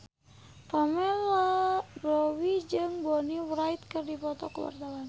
Pamela Bowie jeung Bonnie Wright keur dipoto ku wartawan